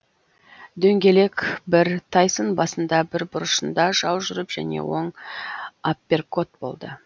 дөңгелек бір тайсон басында бір бұрышында жау жүріп және оң апперкот болды